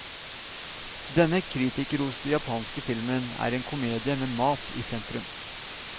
Denne kritikerroste japanske filmen er en komedie med mat i sentrum.